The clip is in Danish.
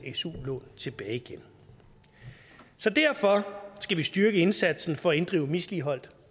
su lån tilbage igen så derfor skal vi styrke indsatsen for at inddrive misligholdt